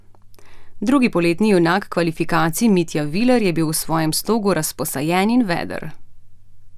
Drugi poletni junak kvalifikacij Mitja Viler je bil v svojem slogu razposajen in veder.